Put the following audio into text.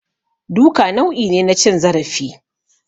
Duka nau'i ne na cin zarafi